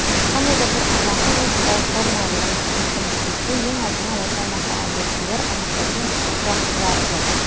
қандай да бір аймақты логикалық формула ретінде көрсеткіміз келсе ең алдымен осы аймақтағы объектілерді анықтайтын тұрақтыларды